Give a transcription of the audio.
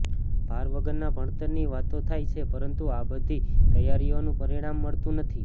ભાર વગરના ભણતરની વાતો થાય છે પરંતુ આ બધી તૈયારીઓનું પરિણામ મળતું નથી